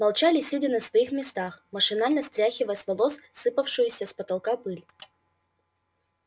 молчали сидя на своих местах машинально стряхивая с волос сыпавшуюся с потолка пыль